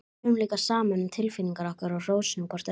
Tölum líka saman um tilfinningar okkar og hrósum hvort öðru.